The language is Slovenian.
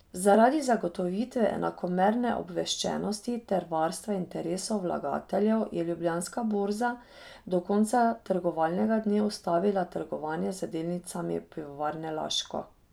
Zaradi zagotovitve enakomerne obveščenosti ter varstva interesov vlagateljev je Ljubljanska borza do konca trgovalnega dne ustavila trgovanje z delnicami Pivovarne Laško.